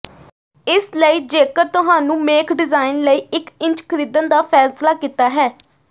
ਇਸ ਲਈ ਜੇਕਰ ਤੁਹਾਨੂੰ ਮੇਖ ਡਿਜ਼ਾਇਨ ਲਈ ਇੱਕ ਇੰਚ ਖਰੀਦਣ ਦਾ ਫੈਸਲਾ ਕੀਤਾ ਹੈ